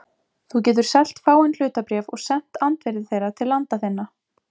Þú getur selt fáein hlutabréf og sent andvirði þeirra til landa þinna.